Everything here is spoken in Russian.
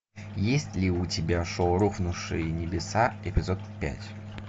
есть ли у тебя шоу рухнувшие небеса эпизод пять